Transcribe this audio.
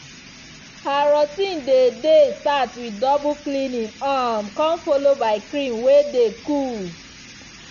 her routine dey dey start with double cleaning um come follow by cream way dey coole.